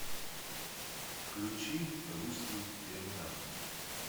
включи русский терминатор